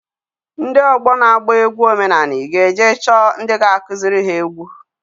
Ndị ọgbọ na-agba egwu omenanị g'eje chọọ ndị ga-akụzịrị ha egwu.